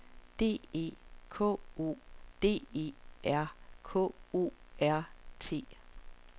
D E K O D E R K O R T